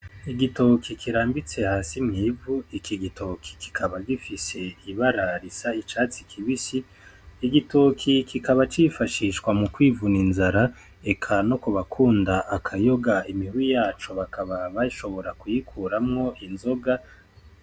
Igitoki kirambitse hasi mw'ivu iki gitoki kikaba gifise ibara risa n'icatsi kibisi, igitoki kikaba cifashishwa mukwivuna inzara eka nokubakunda akayoga imihwi yaco bakaba bashobora kuyikuramwo inzoga.